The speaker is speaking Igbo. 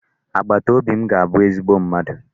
Agbataobi m ga-abu ezigbo mmadụ.